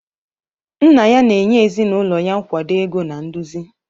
Nna ya na-enye ezinụlọ ya nkwado ego na nduzi.